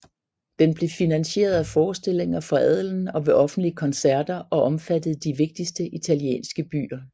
Den blev finansieret af forestillinger for adelen og ved offentlige koncerter og omfattede de vigtigste italienske byer